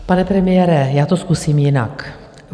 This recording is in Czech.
Pane premiére, já to zkusím jinak.